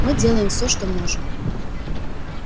мы делаем все что можем